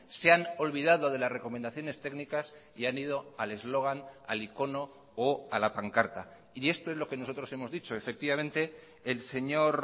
se han olvidado de las recomendaciones técnicas y han ido al eslogan al icono o a la pancarta y esto es lo que nosotros hemos dicho efectivamente el señor